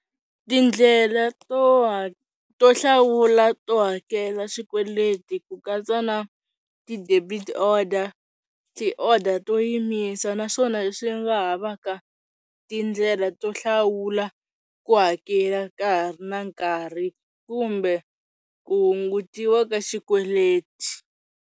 Tindlela to to hlawula to hakela swikweleti ku katsa na ti-debit orders ti-order to yimisa naswona leswi nga ha va ka tindlela to hlawula ku hakela ka ha ri na nkarhi kumbe ku hungutiwa ka xikweleti.